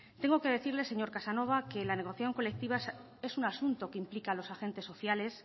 tengo que decirle señor casanova que la negociación colectiva es un asunto que implica a los agentes sociales